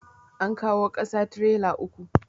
An kawo ƙasa trela uku.